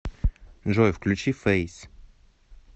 джой включи фэйс